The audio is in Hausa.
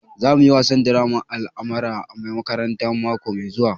Za mu yi wasan draman almara a makaranta mako mai zuwa